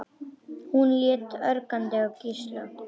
Hún leit ögrandi á Gísla.